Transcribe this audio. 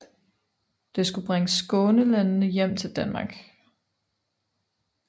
Det skulle bringe Skånelandene hjem til Danmark